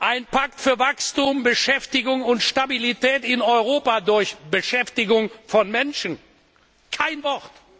Ein Pakt für Wachstum, Beschäftigung und Stabilität in Europa durch Beschäftigung von Menschen kein Wort.